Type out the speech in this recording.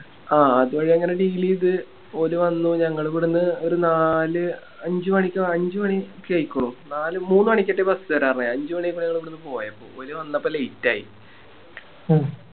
ആ ആദ്യ വഴി അങ്ങനെ Deal ചെയ്ത ഓല് വന്ന് ഞങ്ങളാവിടുന്ന് ഒരു നാല് അഞ്ച് മണിക്കോ അഞ്ച് മണിയൊക്കെ ആയിക്കുന്നു നാല് മൂന്ന് മണിക്കറ്റെ Bus വേര പറഞ്ഞെ അഞ്ച് മണിയായപ്പോ ഞങ്ങളിവിടുന്ന് പോയപ്പോ ഓല് വന്നപ്പോ Late ആയി